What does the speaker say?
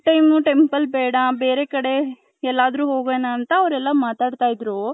ಈ time temple ಬೇಡ ಬೇರೆ ಕಡೆ ಎಲ್ಲಾದರು ಹೋಗಣ ಅಂತ ಅವೇರ್ ಎಲ್ಲಾ ಮಾತಡ್ತೈದ್ರು .